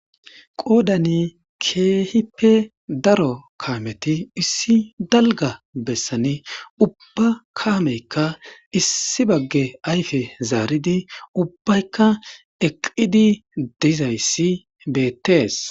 Qoodani keehippe daro kameti issi dalgga besan, ubba kamayka issi bagge ayfe zaaridi ubbayka eqqidi dizaa issi be'ettees.